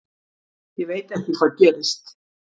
Ég veit ekki hvað gerist.